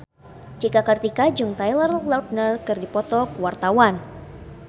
Cika Kartika jeung Taylor Lautner keur dipoto ku wartawan